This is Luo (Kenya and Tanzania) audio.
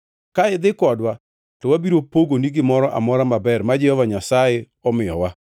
Ka idhi kodwa, to wabiro pogoni gimoro amora maber ma Jehova Nyasaye omiyowa.”